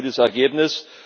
Also ein gutes Ergebnis!